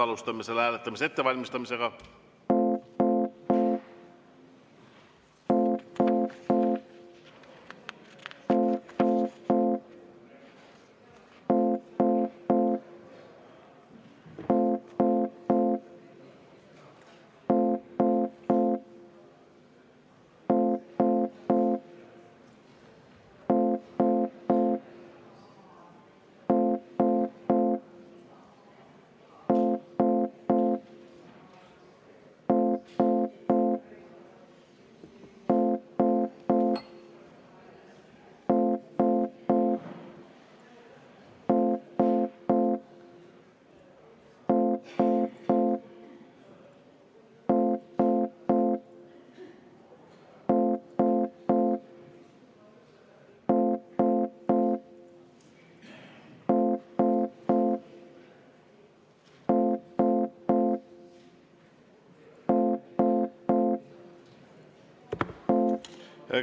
Alustame selle hääletamise ettevalmistamist.